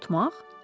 Qorxutmaq?